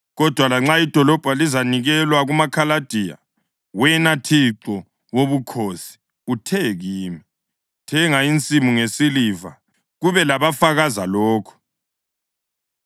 Kodwa lanxa idolobho lizanikelwa kumaKhaladiya, wena Thixo Wobukhosi uthe kimi, ‘Thenga insimu ngesiliva kube labafakaza lokho.’ ”